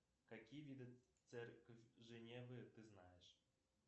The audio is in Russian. какие виды церковь женевы ты знаешь